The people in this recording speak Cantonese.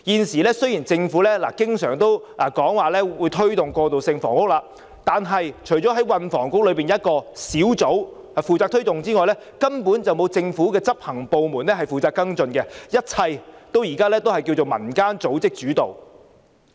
雖然政府現時經常說會推動過渡性房屋，但除了運輸及房屋局轄下一個專責小組負責推動之外，根本沒有政府的執行部門負責跟進，一切都是以民間組織主導。